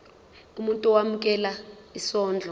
umuntu owemukela isondlo